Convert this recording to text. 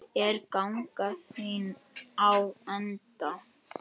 Er ganga þín á enda?